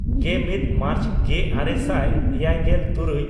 ᱜᱮᱢᱤᱫ ᱢᱟᱨᱪ ᱜᱮᱼᱟᱨᱮ ᱥᱟᱭ ᱮᱭᱟᱭᱜᱮᱞᱼᱛᱩᱨᱩᱭ